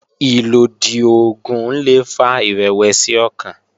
Ìlòdì oògùn le fa ìrẹ̀wẹ̀sì ọkàn